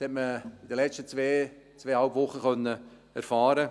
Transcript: Dies konnte man in den letzten zwei bis zweieinhalb Wochen erfahren.